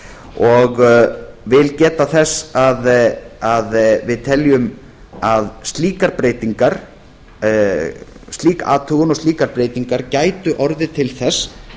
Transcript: og vil geta þess að við teljum að slík athugun og slíkar breytingar gætu orðið til þess